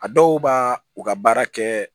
A dɔw b'a u ka baara kɛ